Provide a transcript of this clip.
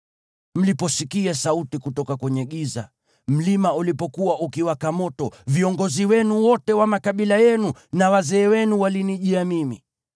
Mliposikia sauti kutoka kwenye giza, mlima ulipokuwa ukiwaka moto, viongozi wenu wote wa makabila yenu na wazee wenu walinijia mimi.